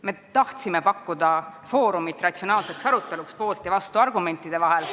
Me tahtsime pakkuda foorumit ratsionaalseks aruteluks poolt- ja vastuargumentidega.